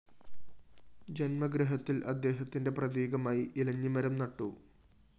ജന്മഗൃഹത്തില്‍ അദ്ദേഹത്തിന്റെ പ്രതീകമായി ഇലഞ്ഞി മരം നട്ടു